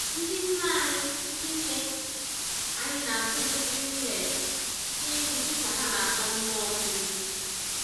Ndị nne anyị Ndị nne anyị na-atụli mkpụrụ millet n'elu dịka ha na-akpọ mmụọ mmiri ozuzo.